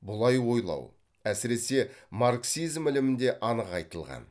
бұлай ойлау әсіресе марксизм ілімінде анық айтылған